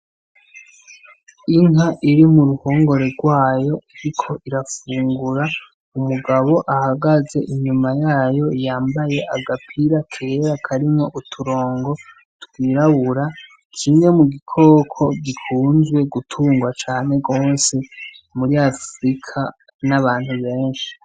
Inka iri mu ruhongore rwayo iriko irafungura, umugabo ahagaze inyuma yayo yambaye agapira kera karimwo uturongo twirabura, kimwe mu gikoko gikunzwe gutungwa cane gose muri Afirika n'abantu benshi.